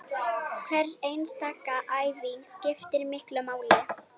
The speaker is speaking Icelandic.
Hver einasta æfing skiptir miklu máli